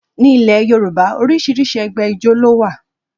Ní ilẹ̀ Yorùbá, oríṣiríṣi ẹgbẹ́ ijó ló wà